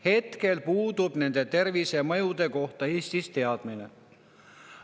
Hetkel nende tervisemõjude kohta Eestis teadmine puudub!